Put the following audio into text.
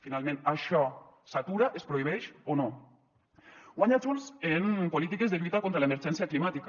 finalment això s’atura es prohibeix o no guanya junts en polítiques de lluita contra l’emergència climàtica